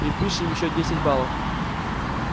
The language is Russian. припишем ещё десять баллов